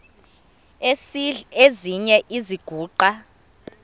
esidl eziny iziguqa